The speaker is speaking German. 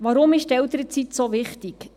Warum ist die Elternzeit so wichtig?